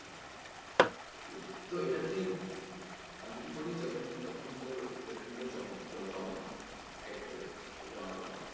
তো এটা তুই আমি কি করি যখন যখন তোর payment গুলো জ~জমে এক এক করে সব জমা পড়ে,